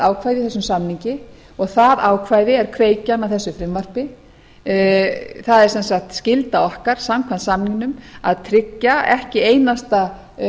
ákvæði í þessum samningi og það ákvæði er kveikjan að þessu frumvarpi það er sem sagt skylda okkar samkvæmt samningnum að tryggja ekki einasta